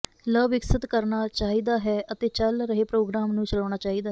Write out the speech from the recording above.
ਲ ਵਿਕਸਤ ਕਰਨਾ ਚਾਹੀਦਾ ਹੈ ਅਤੇ ਚੱਲ ਰਹੇ ਪ੍ਰੋਗਰਾਮ ਨੂੰ ਚਲਾਉਣਾ ਚਾਹੀਦਾ ਹੈ